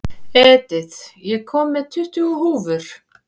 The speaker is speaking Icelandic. Edith, ég kom með tuttugu húfur!